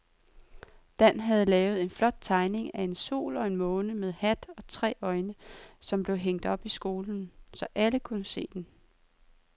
Dan havde lavet en flot tegning af en sol og en måne med hat og tre øjne, som blev hængt op i skolen, så alle kunne se den.